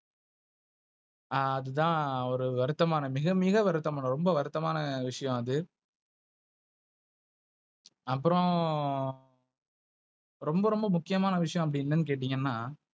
அதுதான் ஒரு வருத்தமான மிக மிக வருத்த மான ரொம்ப வருத்த மான விஷயம் அது. அப்புற ரொம்ப ரொம்ப முக்கியமான விஷயம் அப்படி என்னனு கேட்டீங்கன்னா,